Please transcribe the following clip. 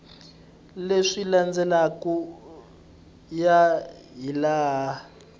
leswi landzelaka ku ya hilaha